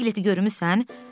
Bəs Piqleti görmüsən?